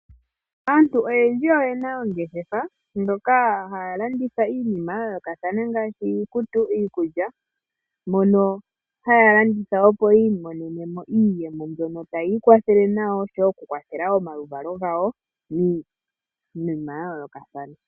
Aantu oyendji oyena oongeshefa dhoka haya landitha iinima ya yoolokathana ngaashi iikutu, iikulya moka haya landitha opo yiimonene mo iiyemo mbyoka tayi iikwatehele nayo osho wo okukwathela omaluvalo gawo miinima ya yoolokathana.